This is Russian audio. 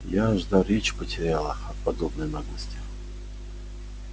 я аж дар речи потеряла от подобной наглости